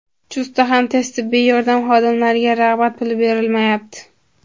Chustda ham tez tibbiy yordam xodimlariga rag‘bat puli berilmayapti.